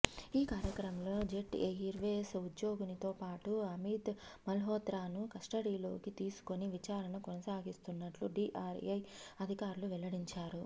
ఈ క్రమంలో jet airways ఉద్యోగినితో పాటు అమిత్ మల్హోత్రాను కస్టడీలోకి తీసుకుని విచారణ కొనసాగిస్తున్నట్లు డిఆర్ఐ అధికారులు వెల్లడించారు